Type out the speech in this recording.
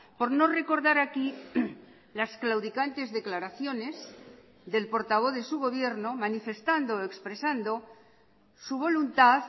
por no recordar aquí las claudicantes declaraciones del portavoz de su gobierno manifestando o expresando su voluntad